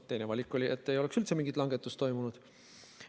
Teine valik oli, et ei oleks üldse mingit langetust toimunud.